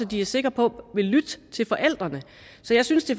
de er sikre på vil lytte til forældrene så jeg synes det